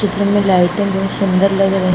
kitchen मे लाइटें बहुत सुन्दर लग रही --